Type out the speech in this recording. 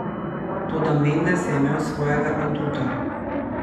Toda Mendes je imel svojega aduta.